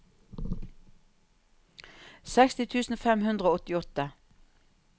seksti tusen fem hundre og åttiåtte